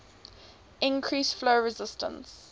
increase flow resistance